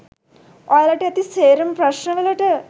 ඔයාලට ඇති සේරම ප්‍රශ්න වලට